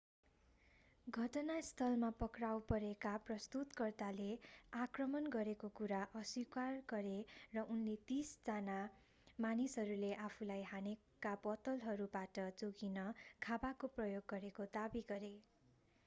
घटनास्थलमा पक्राउ परेका प्रस्तुतकर्ताले आक्रमण गरेको कुरा अस्वीकार गरे र उनले तीस जना मानिसहरूले आफूलाई हानेका बोतलहरूबाट जोगिन खाँबाको प्रयोग गरेको दावी गरे